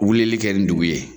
Wilili kɛ nin dugu ye